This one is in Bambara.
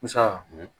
Busan